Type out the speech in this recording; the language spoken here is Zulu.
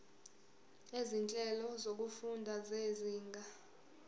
izinhlelo zokufunda zezinga